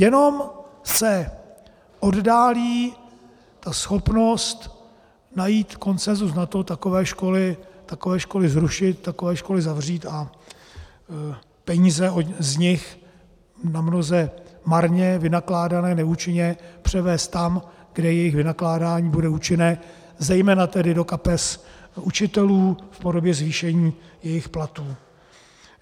Jenom se oddálí ta schopnost najít konsenzus na to takové školy zrušit, takové školy zavřít a peníze z nich namnoze marně vynakládané, neúčinně, převést tam, kde jejich vynakládání bude účinné, zejména tedy do kapes učitelů v podobě zvýšení jejich platů.